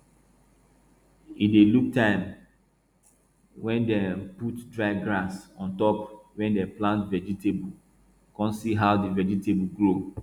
e dey look time wey dem put dry grass on top where dem plant vegetable con see how di vegetable grow